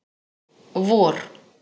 vor